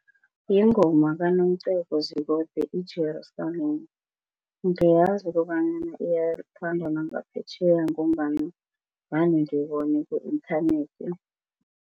Yingoma kaNomcebo Zikode iJerusalema ngiyazi kobanyana iyathandwa nangaphetjheya ngombana vane ngibone ku-inthanethi.